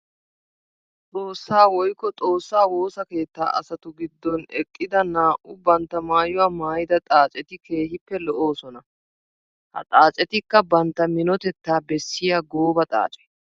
Xoossa woykko xoossa woossa keetta asattu gidon eqidda naa'u bantta maayuwa maayidda xaacetti keehippe lo'oosonna. Ha xaacetikka bantta minotetta bessiya gooba xaace.